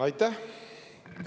Aitäh!